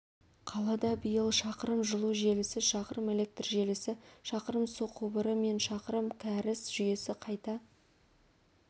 қалада биыл шақырым жылу желісі шақырым электр желісі шақырым су құбыры мен шақырым кәріз жүйесі қайта